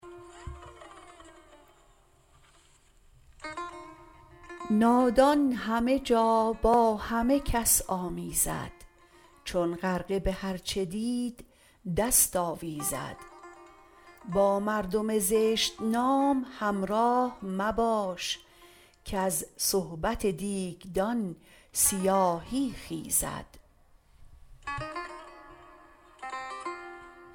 نادان همه جا با همه کس آمیزد چون غرقه به هر چه دید دست آویزد با مردم زشت نام همراه مباش کز صحبت دیگدان سیاهی خیزد